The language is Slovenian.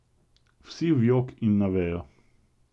Vsi v jok in na vejo.